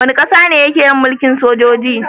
Wani ƙasa ke yin mulkin sojoji